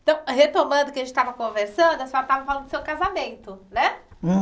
Então, retomando o que a gente estava conversando, a senhora estava falando do seu casamento, né?